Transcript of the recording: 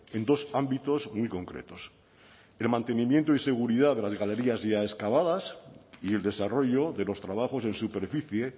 en dos ámbitos muy concretos el mantenimiento y seguridad de las galerías ya excavadas y el desarrollo de los trabajos en superficie